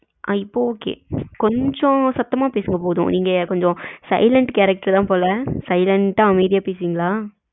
அஹ் இப்போ okay கொஞ்சம் சத்தமா பேசுங்க போதும் நீங்க கொஞ்சம் silent character தான் போல slient ஆ அமைதியா பேசுவிங்களா?